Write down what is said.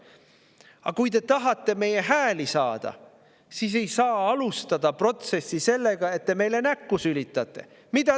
Aga kui te tahate meie hääli saada, siis ei saa alustada protsessi sellega, et te meile näkku sülitate.